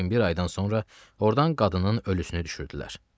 Lakin bir aydan sonra ordan qadının ölüsünü düşürdülər.